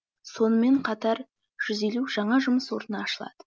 сонымен қатар жүз елу жаңа жұмыс орны ашылады